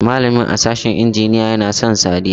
Malamin a sashin injiniya ya na son Sadiya.